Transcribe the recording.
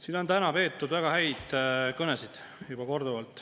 Siin on täna juba korduvalt peetud väga häid kõnesid.